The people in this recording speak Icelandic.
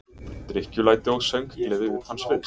Drykkjulæti og sönggleði utan sviðs.